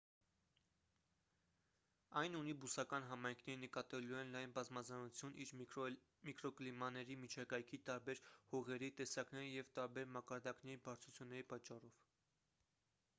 այն ունի բուսական համայնքների նկատելիորեն լայն բազմազանություն իր միկրոկլիմաների միջակայքի տարբեր հողերի տեսակների և տարբեր մակարդակների բարձրությունների պատճառով